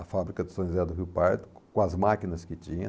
A fábrica de São José do Rio Pardo, com as máquinas que tinha.